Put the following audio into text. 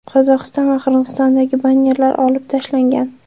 Qozog‘iston va Qirg‘izistondagi bannerlar olib tashlangan.